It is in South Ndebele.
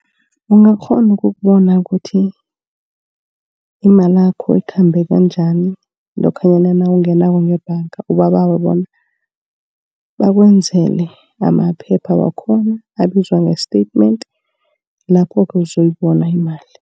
Ungakghona ukubona kuthi imalakho ikhambe bunjani lokhanyana nawungenako ngebhanga. Ubabawe bona bakwenzele amaphepha wakhona abizwa nge-statement. Lapho-ke uzoyibona imali.